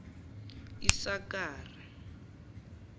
isakare